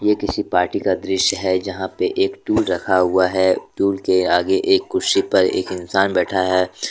ये किसी पार्टी का दृश्य है यहां पे एक टूल रखा हुआ है टूल के आगे एक कुर्सी पर एक इंसान बैठा है।